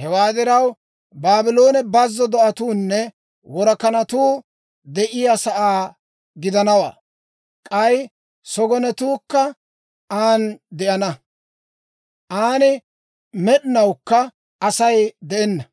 «Hewaa diraw, Baabloone bazzo do'atuunne worakanatuu de'iyaa sa'aa gidanawaa; k'ay sogonetuukka an de'ana. An med'inawukka Asay de'enna;